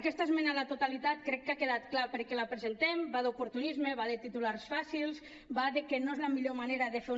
aquesta esmena a la totalitat crec que ha quedat clar per què la presentem va d’oportunisme va de titulars fàcils va de que no és la millor manera de fer una